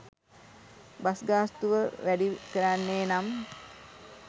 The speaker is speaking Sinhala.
බස් ගාස්තුව වැඩි කරන්නේ නම්